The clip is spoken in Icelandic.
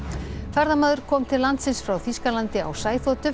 ferðamaður kom til landsins frá Þýskalandi á